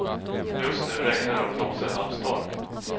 Just nu regnar det och blåser halv storm.